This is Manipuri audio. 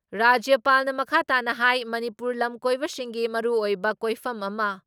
ꯔꯥꯖ꯭ꯌꯄꯥꯜꯅ ꯃꯈꯥ ꯇꯥꯅ ꯍꯥꯏ ꯃꯅꯤꯄꯨꯔ ꯂꯝ ꯀꯣꯏꯕꯁꯤꯡꯒꯤ ꯃꯔꯨꯑꯣꯏꯕ ꯀꯣꯏꯐꯝ ꯑꯃ